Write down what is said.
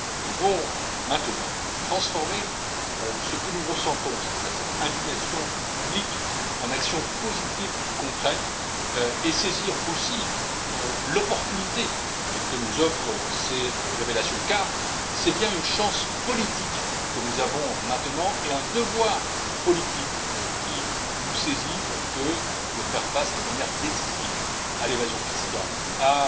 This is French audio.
Nous devons maintenant transformer ce que nous ressentons, c'est à dire cette indignation publique, en actions positives concrètes et saisir aussi l'opportunité que nous offrent ces révélations, car c'est bien une chance politique que nous avons maintenant, et un devoir politique qui nous incombe, que de faire face de manière décisive à l'évasion fiscale, à